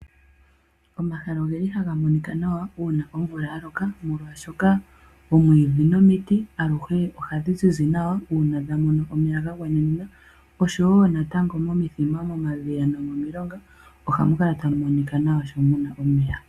Omahala ohaga monika nawa uuna omvula ya loka ,molwaashoka oomwiidhi nomiti aluhe ohadhi zizi nawa uuna dha mona omeya ga gwana. Momithima ,momadhiya nomomilonga ohamu kala tamu monika nawa sho mu na omeya.